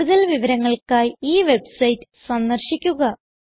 കൂടുതൽ വിവരങ്ങൾക്കായി ഈ വെബ്സൈറ്റ് സന്ദർശിക്കുക